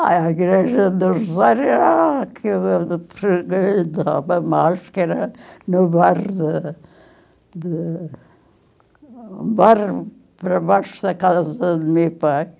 Ah, a igreja do Rosário era a que eu frequentava mais, que era no bairro de de... no bairro para baixo da casa do meu pai.